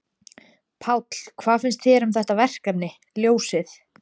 Páll: Hvað finnst þér um þetta verkefni, ljósið?